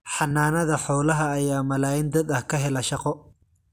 Xanaanada xoolaha ayaa malaayiin dad ah ka hela shaqo.